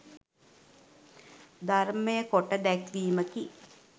ධර්මය කොට දැක්වීමකි.